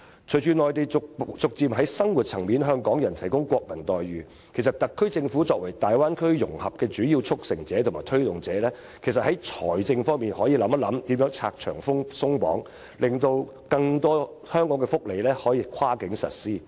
隨着內地逐漸在生活層面向港人提供國民待遇，特區政府作為大灣區融合的主要促成者和推動者，其實可以在財政方面想想如何拆牆鬆綁，令更多香港的福利措施可以跨境實施。